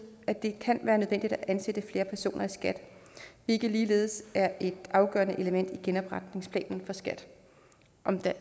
at det kan være nødvendigt at ansætte flere personer i skat hvilket ligeledes er et afgørende element i genopretningsplanen for skat